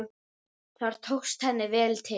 Þar tókst henni vel til.